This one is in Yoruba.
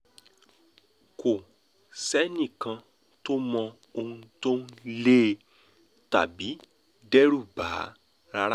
kò sẹ́nìkànkàn tó mọ ohun tó ń lé e tàbí dẹ́rù bà á rárá